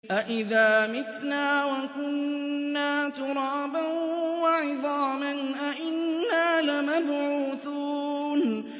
أَإِذَا مِتْنَا وَكُنَّا تُرَابًا وَعِظَامًا أَإِنَّا لَمَبْعُوثُونَ